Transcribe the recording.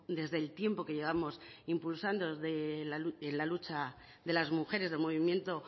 desde el tiempo que llevamos impulsando la lucha de las mujeres del movimiento